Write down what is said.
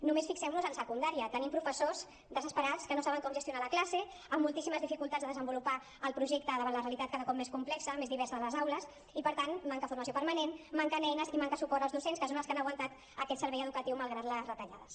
només fixem nos en secundària tenim professors desesperats que no saben com gestionar la classe amb moltíssimes dificultats de desenvolupar el projecte davant la realitat cada cop més complexa més diversa de les aules i per tant manca formació permanent manquen eines i manca suport als docents que són els que han aguantat aquest servei educatiu malgrat les retallades